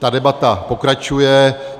Ta debata pokračuje.